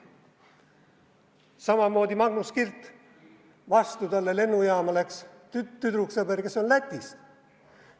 Samamoodi Magnus Kirt, talle läks lennujaama vastu tüdruksõber, kes on Lätist.